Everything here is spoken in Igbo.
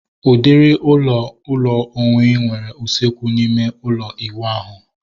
Udiri ụlọ ụlọ onwe nwere usekwu na ịme ụlọ iwu ahu